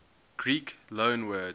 greek loanwords